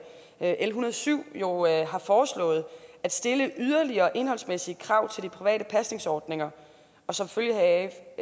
l en hundrede og syv jo har foreslået at stille yderligere indholdsmæssige krav til de private pasningsordninger og som følge